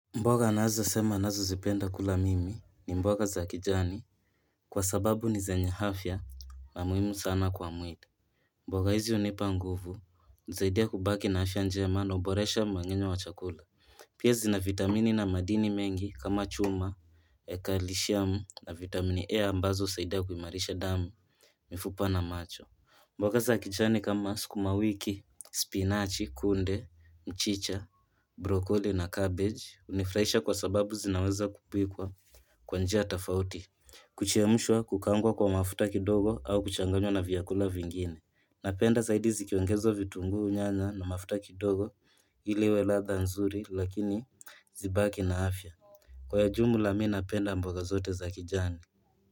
Mboga ninazo sema ninazozipenda kula mimi ni mboga za kijani. Kwa sababu ni zenye afya na muhimu sana kwa mwili. Mboga hizi hunipa nguvu, hunisaidia kubaki na afya njema na huboresha mangenyo wa chakula. Pia zina vitamini na madini mengi kama chuma, kalishamu na vitamini E ambazo husaidia kuimarisha damu. Mifupa na macho. Mboga za kijani kama skuma wiki, spinachi, kunde, mchicha, brokoli na cabbage. Hunifuraisha kwa sababu zinaweza kupikwa kwa njia tofauti kuchemshwa, kuaangwa kwa mafuta kidogo au kuchanganywa na vyakula vingine. Napenda zaidi zikiongezwa vitunguu nyanya na mafuta kidogo ili iwe ladha nzuri lakini zibaki na afya. Kwa jumla mi napenda mboga zote za kijani.